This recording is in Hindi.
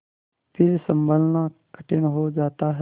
फिर सँभलना कठिन हो जाता है